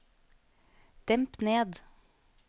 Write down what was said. demp ned